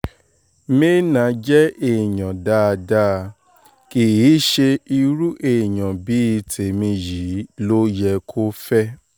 me·enah jẹ́ èèyàn dáadáa kì í ṣe irú èèyàn bíi tèmi yìí ló yẹ kó fẹ́